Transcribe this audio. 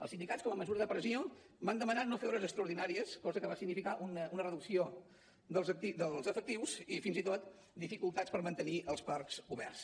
els sindicats com a mesura de pressió van demanar no fer hores extraordinàries cosa que va significar una reducció dels efectius i fins i tot dificultats per mantenir els parcs oberts